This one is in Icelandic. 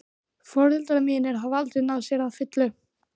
Foreldrar mínir hafa aldrei náð sér að fullu.